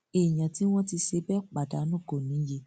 èèyàn tí wọn ti ṣe bẹẹ pa dànù kò níye